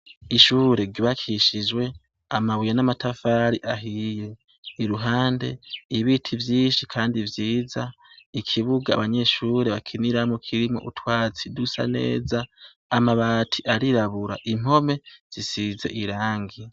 Ishure ryubakishijwe amabuye n'amatafari ahiye, iruhande ibiti vyinshi kandi vyiza, ikibuga abanyeshure bakiniramwo kirimwo utwatsi dusa neza, amabati arirabura, impome zisize irangi.